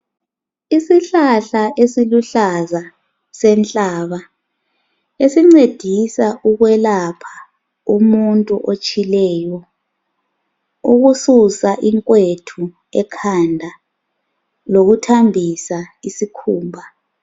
Isihlahla esiluhlaza senhlaba esincedisa ukwelapha umuntu otshileyo ukususa inkwethu ekhanda nokuthambisa isikhumba